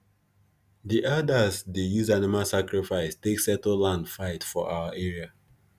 the elders dey use animal sacrifice take settle land fight for our area